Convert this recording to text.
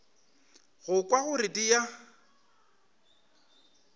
go kwa gore di a